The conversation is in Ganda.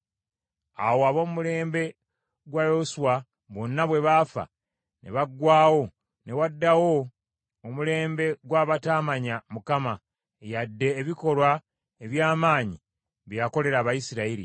Awo ab’omulembe gwa Yoswa bonna bwe baafa ne baggwaawo ne waddawo omulembe gw’abataamanya Mukama yadde ebikolwa eby’amaanyi bye yakolera Abayisirayiri.